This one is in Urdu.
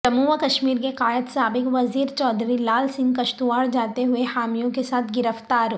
جموں و کشمیر کے قائد سابق وزیر چودھری لال سنگھ کشتواڑجاتے ہوئے حامیوں کیساتھ گرفتار